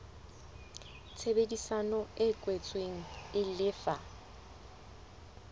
tshebedisano e kwetsweng e lefa